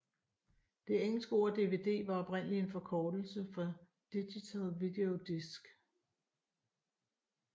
Det engelske ord DVD var oprindeligt en forkortelse for digital video disc